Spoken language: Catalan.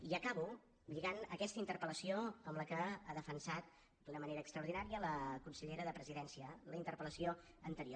i acabo lligant aquesta interpel·lació amb la que ha defensat d’una manera extraordinària la consellera de la presidència la interpel·lació anterior